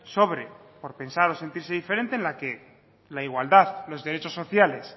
sobre por pensar o sentirse diferente en la que la igualdad los derechos sociales